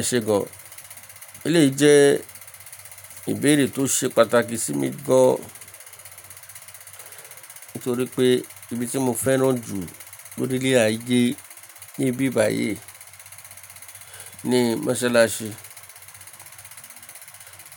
Ẹ̀ṣẹ̀ gan, eléyìí jẹ́ ìbéèrè tó ṣe pàtàkì sí mi gan, nítorí pé ibi tí mo fẹ́ràn jù lórí ilẹ̀ ayé níbí báyìí ni Masalasi.